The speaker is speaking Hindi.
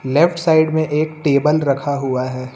लेफ्ट साइड में एक टेबल रखा हुआ है।